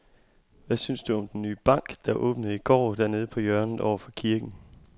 Hvad synes du om den nye bank, der åbnede i går dernede på hjørnet over for kirken?